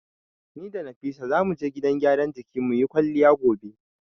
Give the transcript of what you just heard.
Ni da Nafisa zamu je gidan gyaran jikin muyi kwalliya gobe.